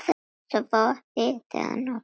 Svo hitaði hún kakó.